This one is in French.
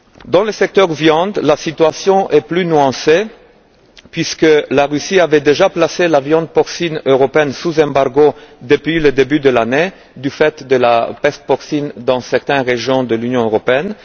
Dans le secteur de la viande, la situation est plus nuancée puisque la Russie avait déjà placé la viande porcine européenne sous embargo depuis le début de l'année, du fait de la peste porcine dans certaines régions de l'Union européenne.